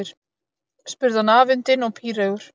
spurði hann afundinn og píreygur.